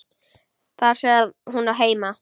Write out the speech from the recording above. Þar sem hún á heima.